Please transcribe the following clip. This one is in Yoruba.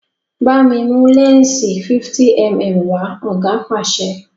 bámi mú lẹnsi 50mm wa! oga pàṣẹ